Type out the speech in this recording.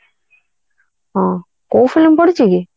ହଁ କୋଉ film ପଡିଛି କି